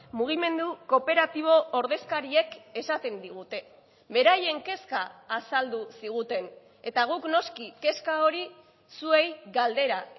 mugimendu kooperatibo ordezkariek esaten digute beraien kezka azaldu ziguten eta guk noski kezka hori zuei galdera